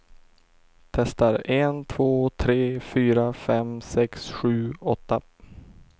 Testar en två tre fyra fem sex sju åtta.